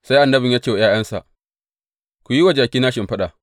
Sai annabin ya ce wa ’ya’yansa, Ku yi wa jakina shimfiɗa.